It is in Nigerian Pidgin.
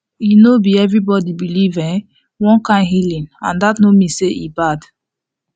e no be everybody believe um one kind healing and that no mean say e bad